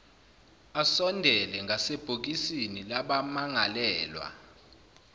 asondele ngasebhokisini labamangalelwa